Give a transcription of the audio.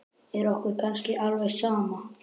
Er okkur kannski alveg sama?